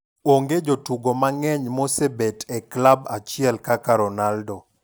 Onge jotugo mang'eny maosebet e klab achiel kaka Ronaldo.